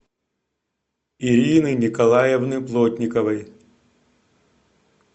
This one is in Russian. ирины николаевны плотниковой